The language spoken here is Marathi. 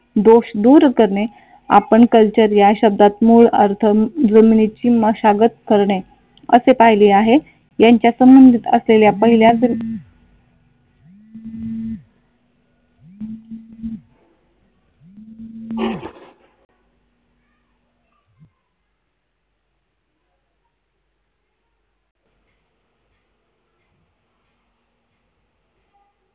दोष दूर करणे आपण कल्चर या शब्दात मूळ अर्थ जमिनीची मशागत करणे असे पाहिले आहे. यांच्या संबंधित असलेल्या पहिल्या